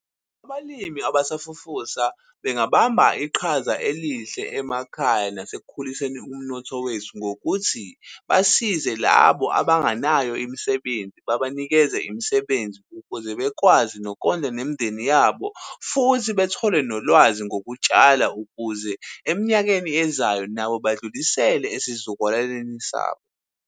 Abalimi abasafufusa bengabamba iqhaza elihle emakhaya nasekukhuliseni umnotho wethu, ngokuthi basize labo abanganayo imisebenzi babanikeza imisebenzi. Ukuze bekwazi nokondla nemindeni yabo, futhi bethole nolwazi ngokutshala, ukuze eminyakeni ezayo nabo badlulisele esizukulwaneni sabo.